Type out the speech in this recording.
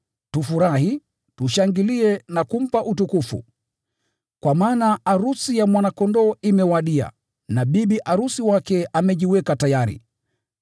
Tufurahi, tushangilie na kumpa utukufu! Kwa maana arusi ya Mwana-Kondoo imewadia na bibi arusi wake amejiweka tayari.